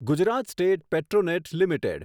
Gujarat state Petronet limited